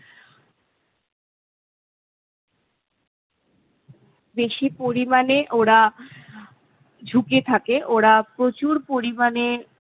বেশি পরিমাণে ওরা ঝুঁকে থাকে। ওরা প্ৰচুর পরিমাণে